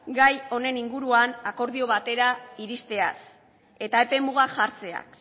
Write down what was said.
gai honen inguruan akordio batera iristeaz eta epemugak jartzeaz